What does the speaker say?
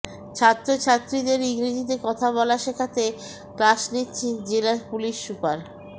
ছাত্রছাত্রীদের ইংরেজিতে কথা বলা শেখাতে ক্লাস নিচ্ছেন জেলা পুলিস সুপার